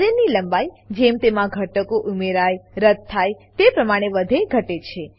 અરે ની લંબાઈ જેમ તેમાં ઘટકો ઉમેરાયરદ્દ થાય તે પ્રમાણે વધેઘટે છે